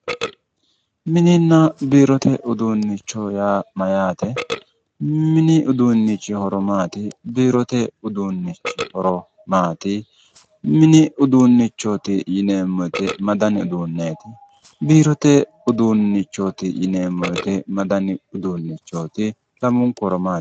Mininna biirote uduunnicho yaa mayyaate? mini uduunnichi horo maati? biirote uduunnichi horo maati? mini uduunnicho yineemmobwote ma dani uduunneeti? biirote uduunneeti yineemmo wote ma danu uduunneeti, lamunku horo maati?